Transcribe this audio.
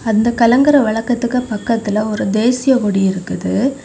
அந்த கலங்கரை விளக்கத்துக்கு பக்கத்துல ஒரு தேசிய கொடி இருக்குது.